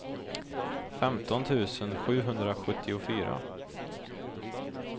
femton tusen sjuhundrasjuttiofyra